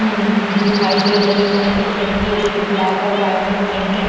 न दिखाई दे रही है एक लड़की है जोकि ब्लैक और वाइट मे प्रिंटेड --